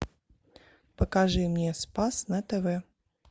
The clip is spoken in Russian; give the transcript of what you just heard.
покажи мне спас на тв